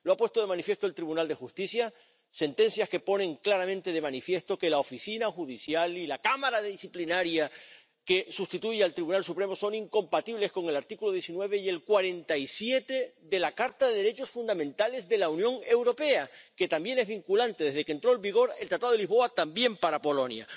Lo ha puesto de manifiesto el Tribunal de Justicia sentencias que ponen claramente de manifiesto que la Oficina Judicial y la Cámara Disciplinaria que sustituye al Tribunal Supremo son incompatibles con el artículo 19 y el 47 de la Carta de los Derechos Fundamentales de la Unión Europea, que también es vinculante desde que entró en vigor el Tratado de Lisboa, también para Polonia.